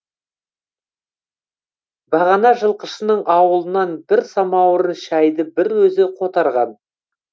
бағана жылқышының ауылынан бір самауырын шәйді бір өзі қотарған